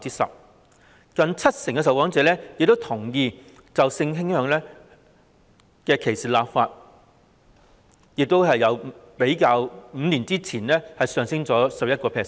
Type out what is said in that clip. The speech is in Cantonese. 此外，有近七成受訪者同意就性傾向歧視立法，亦較5年前上升了 11%。